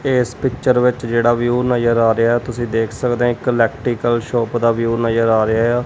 ਤੇ ਇਸ ਪਿੱਚਰ ਵਿੱਚ ਜਿਹੜਾ ਵੀਊ ਨਜ਼ਰ ਆ ਰਿਹਾ ਐ ਤੁਸੀਂ ਦੇਖ ਸਕਦੇ ਹੋ ਇੱਕ ਇਲੈਕਟਰੀਕਲ ਸ਼ੋਪ ਦਾ ਵਿਊ ਨਜ਼ਰ ਆ ਰਿਹਾ ਐ।